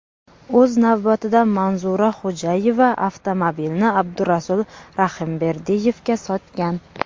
O‘z navbatida Manzura Xo‘jayeva avtomobilni Abdurasul Rahimberdiyevga sotgan.